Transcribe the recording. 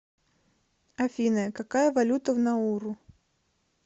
афина какая валюта в науру